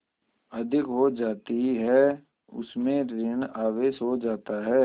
अधिक हो जाती है उसमें ॠण आवेश हो जाता है